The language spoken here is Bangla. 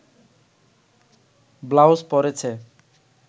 ব্লাউজ পরেছে